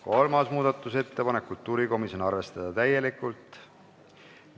Kolmas muudatusettepanek on kultuurikomisjonilt, arvestada täielikult.